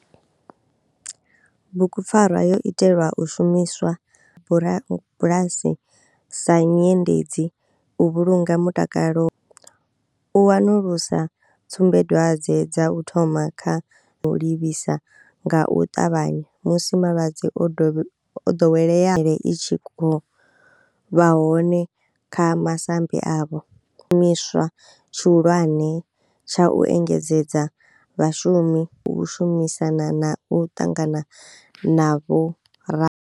Bugupfarwa yo itelwa u shumiswa bulasi sa nyendedzi u vhulunga mutakalo, u wanulusa tsumbadwadzwe dza u thoma kha u livhisa nga u ṱavhanya musi malwadze o ḓowelea i tshi vha hone kha masambi avho, shumiswa tshihulwane tsha u engedzedza vhashumi shumisana na u ṱangana na vhora.